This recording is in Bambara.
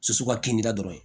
Su ka kilia dɔrɔn